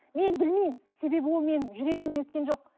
мен білмеймін себебі ол менің жүрегімнен өткен жоқ